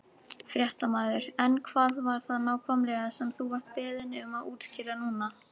Fréttamaður: En hvað var það nákvæmlega sem þú vart beðinn um að útskýra núna?